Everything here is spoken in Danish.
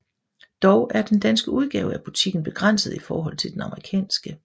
Dog er den danske udgave af butikken begrænset i forhold til den amerikanske